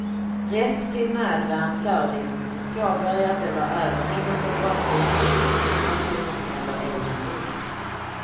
Rätt till nödvärn föreligger mot ett påbörjat eller överhängande brottsligt angrepp på person eller egendom.